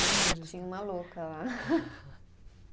Tinha uma louca lá.